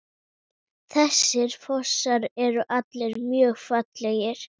Þessir fossar eru allir mjög fallegir.